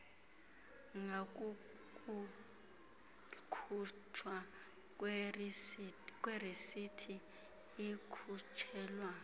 ngakukukhutshwa kwerisithi ikhutshelwa